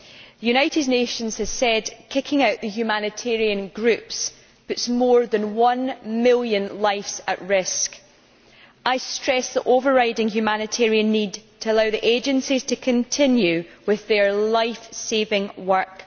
The United Nations has said that kicking out the humanitarian groups puts more than one million lives at risk. I stress the overriding humanitarian need to allow the agencies to continue with their lifesaving work.